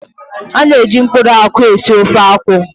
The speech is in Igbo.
A na-eji mkpụrụ akwụ esi ofe akwụ.